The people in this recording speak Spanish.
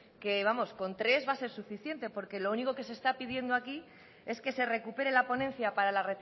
que vamos con tres va a ser suficiente porque lo único que se está pidiendo aquí es que se recupere la ponencia para la